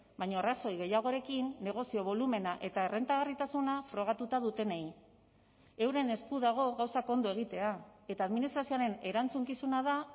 baina arrazoi gehiagorekin negozio bolumena eta errentagarritasuna frogatuta dutenei euren esku dago gauzak ondo egitea eta administrazioaren erantzukizuna da